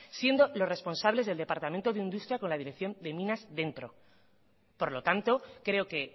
siendo los responsables del departamento de industria con la dirección de minas dentro por lo tanto creo que